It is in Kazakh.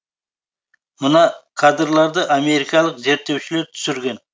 мына кадрларды америкалық зерттеушілер түсірген